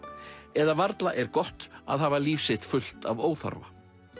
eða varla er gott að hafa líf sitt fullt af óþarfa